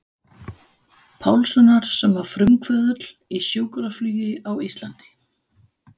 Pálssonar sem var frumkvöðull í sjúkraflugi á Íslandi.